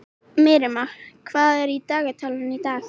Miriam, hvað er í dagatalinu í dag?